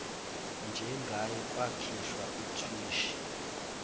njengaye kwakhishwa uthwishi